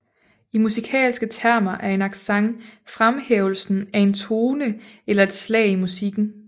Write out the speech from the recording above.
I musikalske termer er en accent fremhævelsen af en tone eller et slag i musikken